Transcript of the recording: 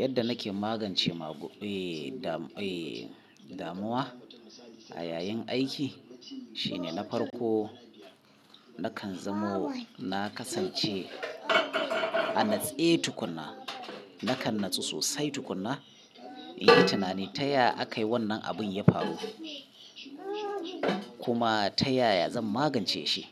Yadda nake magance damuwa a yayin aiki shine na farko nakan zamo na kasance a natse tukuna. Nakan natsu sosai tukuna, in yi tunani taya aka yi wannan abun ya faru kuma ta yaya zan magance shi.